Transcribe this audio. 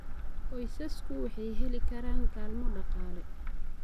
Qoysasku waxay heli karaan kaalmo dhaqaale.